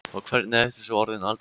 Og hvernig ertu svo orðin Alda.